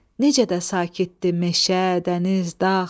Necə də sakitdir meşə, dəniz, dağ!